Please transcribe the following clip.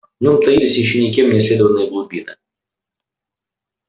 в нём таились ещё никем не исследованные глубины